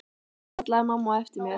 kallaði mamma á eftir mér.